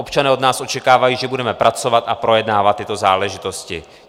Občané od nás očekávají, že budeme pracovat a projednávat tyto záležitosti.